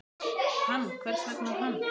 Hann, hvers vegna hann?